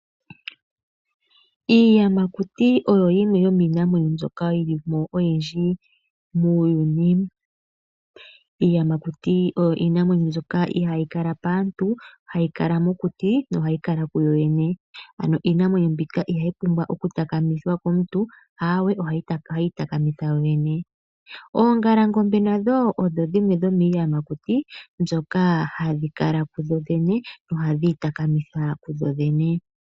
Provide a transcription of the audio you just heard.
Iiyamakuti oyo yimwe yomiinamwenyo mbyoka yi li mo oyindji muuyuni. Iiyamakuti oyo iinamwenyo mbyoka ihayi kala paantu hayi kala mokuti yo ohayi kala kuyoyene. Iinamwenyo mbika ihayi pumbwa oku takamithwa komuntu, ihe ohayi itakamitha kuyoyene. Oongalangombe nadho odho dhimwe dhomiiyamakuti mbyoka hayi kala kuyoyene nohayi itakamitha kuyoyene.